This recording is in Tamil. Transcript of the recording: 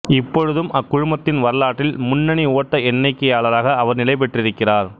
இப்பொழுதும் அக்குழுமத்தின் வரலாற்றில் முன்னணி ஓட்ட எண்ணிக்கையாளராக அவர் நிலைபெற்றிருக்கிறார்